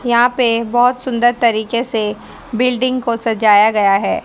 यहां पे बहोत सुंदर तरीके से बिल्डिंग को सजाया गया है।